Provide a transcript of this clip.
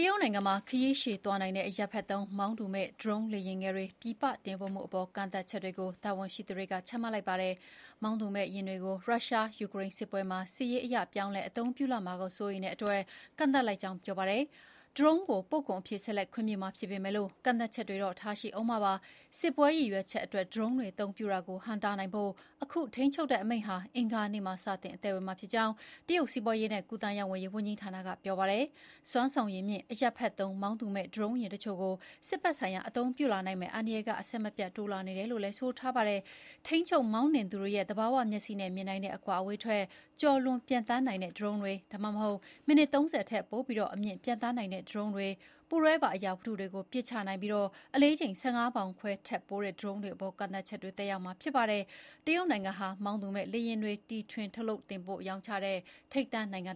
ရုတ်နိုင်ငံမှာခရီးရှည်သွားနိုင်တဲ့ အရပ်ဖက်သုံး မောင်းသူမဲ့ ဒရုန်းလေယာဉ်ငယ်တွ ပြည်ပတင်ပို့မှုအပေါ် ကန့်သတ်ချက်တွေ ချမှတ်လိုက်ပါတယ်။ မောင်းသူမဲ့ယာဉ်တွေကို ရုရှား-ယူကရိန်းစစ်ပွဲမှာ စစ်ရေးအရ ပြောင်းလဲအသုံးပြုလာမှာကို စိုးရိမ်လို့ ဒီလို ကန့်သတ်လိုက်ကြောင်း ပြောပါတယ်။ ဒရုန်းကို ပို့ကုန်အဖြစ် ဆက်လက်ခွင့်ပြုမှာ ဖြစ်ပေမယ့်ကန့်သတ်ချက်တွေ ထားမှာ ဖြစ်ပါတယ်။ "စစ်ပွဲရည်ရွယ်ချက်" အတွက် ဒရုန်းတွေအသုံးပြုတာကိုဟန့်တားနိုင်ဖို့ အခု ထိန်းချုပ်တဲ့အမိန့်ဟာ အင်္ဂါနေ့မှာပဲ စတင် အသက်ဝင်မှာဖြစ်ကြောင်း တရုတ် စီးပွားရေးနှင့်ကူးသန်းရောင်းဝယ်ရေးဝန်ကြီးဌာနက ပြောပါတယ်။ “စွမ်းဆောင်ရည်မြင့် အရပ်ဖက်သုံး မောင်းသူမဲ့ ဒရုန်းယာဉ်အချို့ကို စစ်ဘက်ဆိုင်ရာအသုံးပြုလာနိုင်မယ့်အန္တရာယ်က အဆက်မပြတ် တိုးလာနေတယ်” လို့ ဆိုပါတယ်။ ထိန်းချုပ် မှောင်းနှင်သူတွေရဲ့ သဘာဝမျက်စိနဲ့မြင်နိုင်တဲ့အကွာအဝေးထက် ကျော်လွန်ပျံသန်းနိုင်တဲ့ဒရုန်းတွေ၊ ဒါမှမဟုတ် မိနစ် ၃၀ ထက်ပိုပြီး အမြင့် ပျံသန်းနိုင်တဲ့ ဒရုန်းတွေ၊ ပူးတွဲပါ အရာဝတ္ထုတွေကို ပစ်ချနိုင် ပြီး အလေးချိန် ၁၅ ပေါင်ခွဲထက်ပိုတဲ့ ဒရုန်းတွေအပေါ် ကန့်သတ်ချက်တွေကသက်ရောက်မှာ ဖြစ်ပါတယ်။ တရုတ်နိုင်ငံဟာ မောင်းသူမဲ့လေယာဉ်တွေ တီထွင်ထုတ်လုပ်တင်ပို့ရောင်းချတဲ့ ထိပ်တန်းနိုင်ငံပါ။